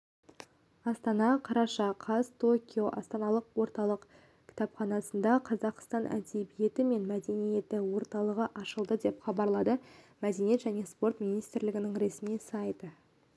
астана қараша қаз токио астаналық орталық кітапханасында қазақстан әдебиеті және мәдениеті орталығы ашылды деп хабарлады мәдениет және спорт министрлігінің ресми сайты